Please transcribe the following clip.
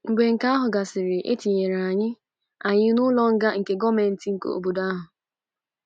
Mgbe nke ahụ gasịrị, e tinyere anyị anyị n’ụlọ nga nke gọọmenti obodo ahụ.